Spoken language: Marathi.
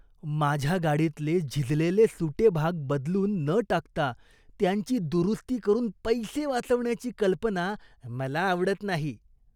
माझ्या गाडीतले झिजलेले सुटे भाग बदलून न टाकता त्यांची दुरुस्ती करून पैसे वाचवण्याची कल्पना मला आवडत नाही.